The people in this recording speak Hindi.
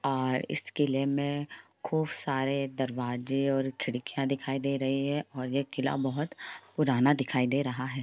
और इस किले में खूब सारे दरवाजे और खिड़कियां दिखाई दे रही हैं और यह किला बोहोत पुराना दिखाई दे रहा है ।